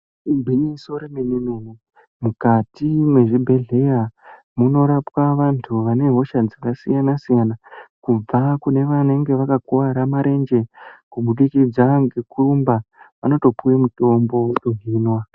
Igwinyiso remenemene mukati mezvibhedleya munorapwa vantu vanehosha dzakasiyana siyana ,kubva kunevanenge vakakuvara marenje kubudikidza nekurumba vanotopiwe mitombe yekunwa .